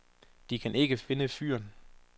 De kan ikke finde fyren.